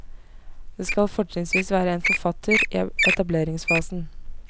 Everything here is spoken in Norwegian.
Det skal fortrinnsvis være en forfatter i etableringsfasen.